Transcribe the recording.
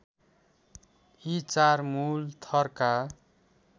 यी चार मुलथरका